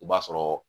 O b'a sɔrɔ